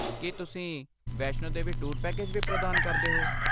ਕੀ ਤੁਸੀਂ Vaishno Devi tour package ਵੀ ਪ੍ਰਦਾਨ ਕਰਦੇ ਹੋ?